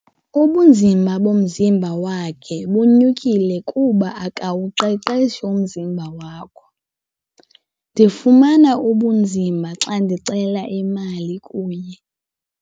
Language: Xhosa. Ubunzima bomzimba wakhe bunyukile kuba akawuqeqeshi umzimba wakho. ndifumana ubunzima xa ndicela imali kuye